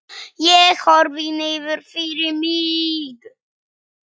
Ég horfi niður fyrir mig.